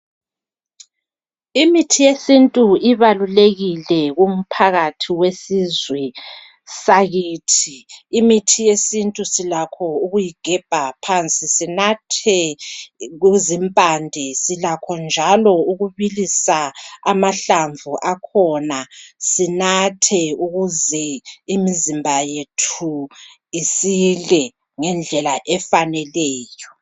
Imithi yesintu ibalulekile kumphakathi wesizwe sakithi. Imithi yesintu silakho ukuyigebha phansi sinathe kuzimpande, silakho njalo ukubilisa amahlamvu akhona sinathe ukuze imizimba yethu isile, ngendlela efaneleyo.